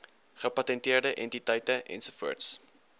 gepatenteerde entiteite ens